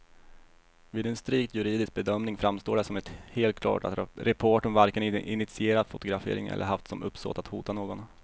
Vid en strikt juridisk bedömning framstår det som helt klart att reportern varken initierat fotograferingen eller haft som uppsåt att hota någon.